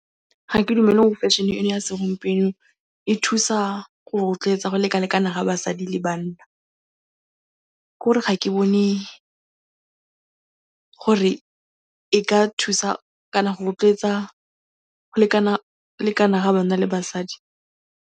Ga ke dumele gore fashion-e eno ya segompieno e thusa go rotloetsa go lekalekana ga basadi le banna. K'ore ga ke bone gore e ka thusa kana go rotloetsa go lekana-lekana ga banna le basadi.